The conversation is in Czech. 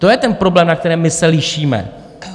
To je ten problém, na kterém my se lišíme.